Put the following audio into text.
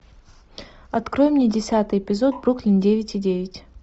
открой мне десятый эпизод бруклин девять и девять